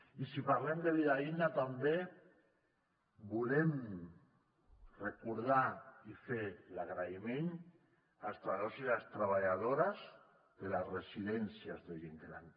i si parlem de vida digna també volem recordar i fer l’agraïment als treballadors i les treballadores de les residències de gent gran